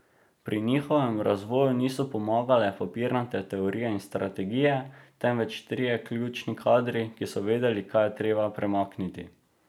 Pri njihovem razvoju niso pomagale papirnate teorije in strategije, temveč trije ključni kadri, ki so vedeli, kaj je treba premakniti.